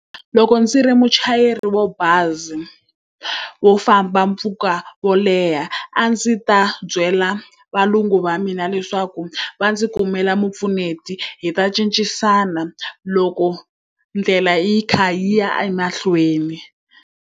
Loko ndzi ri muchayeri wa bazi wo famba mpfhuka wo leha a ndzi ta byela valungu va mina leswaku va ndzi kumela mupfuneti, hi ta cincisana loko ndlela yi kha yi ya emahlweni.